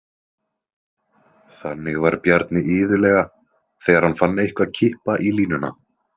Þannig var Bjarni iðulega þegar hann fann eitthvað kippa í línuna.